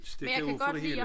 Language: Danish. Stikke af fra det hele